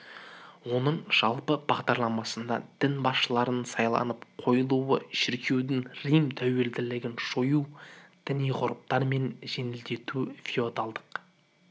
оның жалпы бағдарламасында дін басшыларының сайланып қойылуы шіркеудің рим тәуелділігін жою діни ғұрыптарын жеңілдетуі феодалдық